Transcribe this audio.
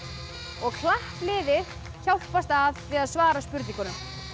og klappliðið hjálpast að við að svara spurningunum